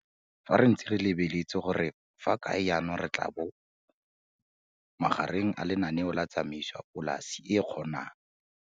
Fa re ntse re lebeletse gore re fa kae jaanong re tla bona magare a lenaneo la tsamaiso ya polase e kgonang.